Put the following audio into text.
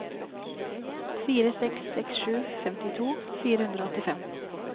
fire seks seks sju femtito fire hundre og åttifem